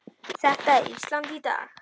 Þetta er Ísland í dag.